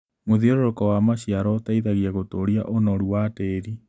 Mũthiũrũrũko wa maciaro ũteithagia gũtũria ũnoru wa tĩri.